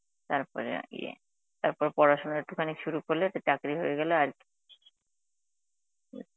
তারপরে ইয়ে, তারপর পড়াশোনা একটুখানি শুরু করলে তো চাকরি হয়ে গেলে আর কী